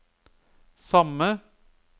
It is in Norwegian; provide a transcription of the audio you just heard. samme